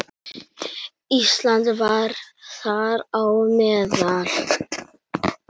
Ísland var þar á meðal.